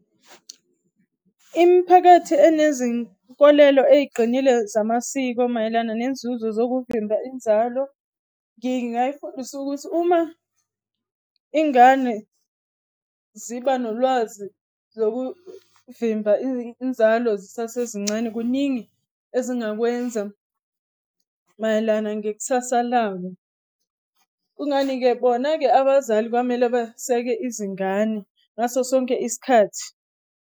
Imiphakathi enezinkolelo eyiqinile zamasiko mayelana nenzuzo zokuvimba inzalo, ngingayifundisa ukuthi uma ingane ziba nolwazi zokuvimba inzalo zisazesincane, kuningi ezingakwenza mayelana ngekusasa labo. Kungani-ke? Bona-ke abazali kwamele baseke izingane ngaso sonke isikhathi.